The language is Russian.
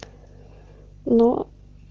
но